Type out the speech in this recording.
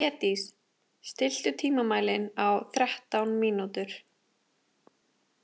Hlédís, stilltu tímamælinn á þrettán mínútur.